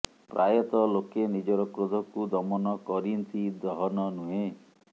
ପ୍ରାୟତଃ ଲୋକେ ନିଜର କ୍ରୋଧକୁ ଦମନ କରିନ୍ତି ଦହନ ନୁହେଁ